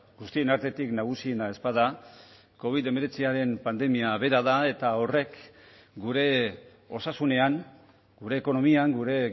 guztien artetik nagusiena ez bada covid hemeretziaren pandemia bera da eta horrek gure osasunean gure ekonomian gure